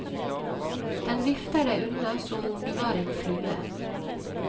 Den vifter deg unna som om du var en flue.